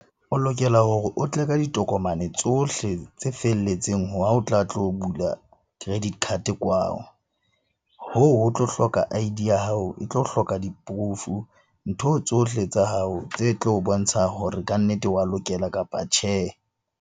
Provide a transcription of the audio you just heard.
O lokela hore o tle ka ditokomane tsohle tse felletseng ha o tla tlo bula credit card kwao. Hoo ho tlo hloka I_D ya hao, e tlo hloka di-proof-o. Ntho tsohle tsa hao tse tlo bontsha hore kannete wa lokela, kapa tjhe.